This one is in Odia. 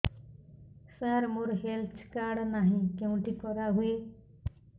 ସାର ମୋର ହେଲ୍ଥ କାର୍ଡ ନାହିଁ କେଉଁଠି କରା ହୁଏ